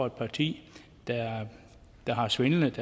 et parti der har svindlet